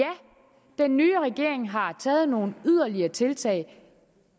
den nye regering har taget nogle yderligere tiltag